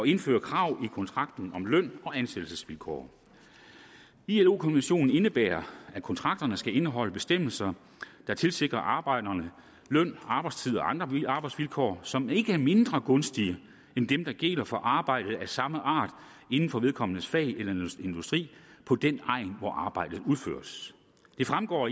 indføre krav i kontrakten om løn og ansættelsesvilkår ilo konventionen indebærer at kontrakterne skal indeholde bestemmelser der tilsikrer arbejderne løn arbejdstid og andre arbejdsvilkår som ikke er mindre gunstige end dem der gælder for arbejde af samme art inden for vedkommendes fag eller industri på den egn hvor arbejdet udføres det fremgår